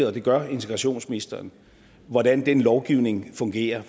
og det gør integrationsministeren hvordan den lovgivning fungerer